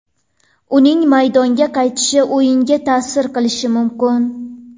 Uning maydonga qaytishi o‘yinga ta’sir qilishi mumkin.